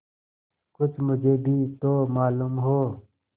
कुछ मुझे भी तो मालूम हो